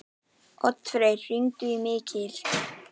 Oddfreyr, hringdu í Mikil.